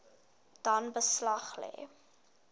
dan beslag lê